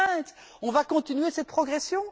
2020! On va continuer cette progression?